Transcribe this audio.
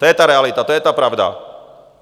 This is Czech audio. To je ta realita, to je ta pravda.